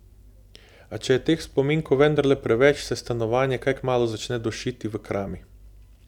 A če je teh spominkov vendarle preveč, se stanovanje kaj kmalu začne dušiti v krami.